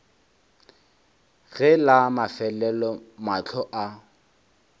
ge la mafelelo mahlo a